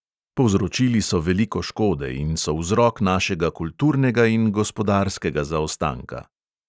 Povzročili so veliko škode in so vzrok našega kulturnega in gospodarskega zaostanka.